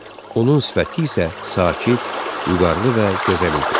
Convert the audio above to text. Onun sifəti isə sakit, vüqarlı və gözəl idi.